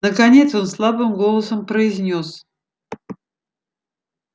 наконец он слабым голосом произнёс